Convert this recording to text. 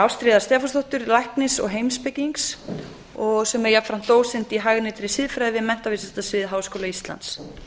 ástríðar stefánsdóttur læknis og heimspekings sem er jafnframt dósent í hagnýtri siðfræði við menntavísindasvið háskóla íslands